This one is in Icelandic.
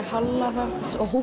halla þá